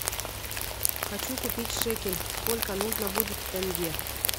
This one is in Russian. хочу купить шекель сколько нужно будет тенге